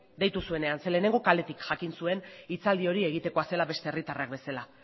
deitu zuenean ze lehenengo kaletik jakin zuen hitzaldi hori egitekoa zela beste herritarrak bezala